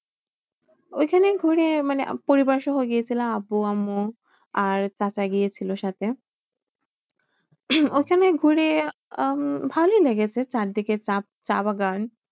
ঐখানেই ঘুরে মানে পরিবার সহ গিয়েছিলাম, আব্বু আম্মু আর চাচা গিয়েছিলো সাথে। ওখানে ঘুরে আহ ভালোই লেগেছে চারিদিকে চা~ চাবাগান।